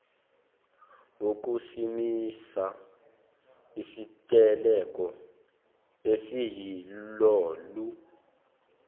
wokusimisa isiteleka esiyilolu